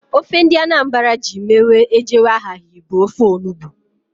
Ofe ndị Anambra ji mere ejewe aghaghị bụ ofe onugbu